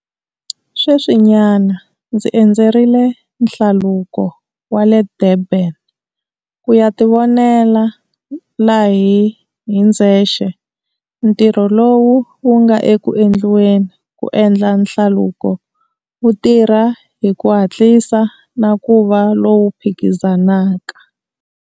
Sweswinyana, ndzi endzerile Nhlaluko wa le Durban ku ya tivonela hi ndzexe ntirho lowu wu nga eku endliweni ku endla hlaluko wu tirha hi ku hatlisa na ku va lowu phikizanaka.